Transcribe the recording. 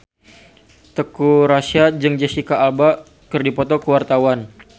Teuku Rassya jeung Jesicca Alba keur dipoto ku wartawan